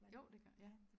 Jo det gør ja